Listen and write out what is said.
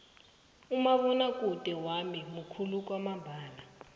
umabonwakude wami mukhulu kwamambala